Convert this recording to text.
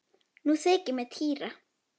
Nú þykir mér týra!